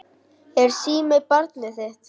Er síminn barnið þitt?